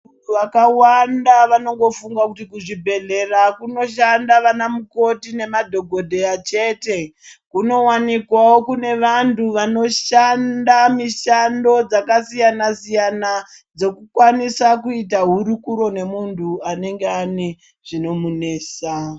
vakawanda vanongofunga kuti kuzvibhedhlera kunoshanda vana mukoti nemadhokotera chete kunowanikwawo kune vantu vanoshanda mishando dzakasiyana siyana dzokukwanisa kuita hurukuro nemuntu anenge ane zvinomunetsa .